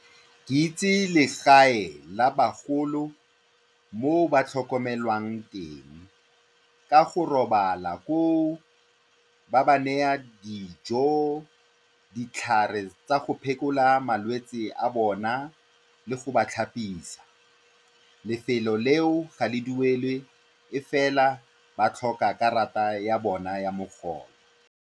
Ke itse legae la bagolo mo ba tlhokomelwang teng ka go robala koo, ba ba naya dijo, ditlhare tsa go phekola malwetse a bona le go ba tlhapisa. Lefelo leo ga le duelwe, ke fela ba tlhoka karata ya bona ya mogolo.